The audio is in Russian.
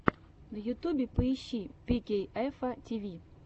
на ютюбе поищи пикейэфа тиви